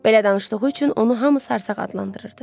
Belə danışdığı üçün onu hamı sarsaq adlandırırdı.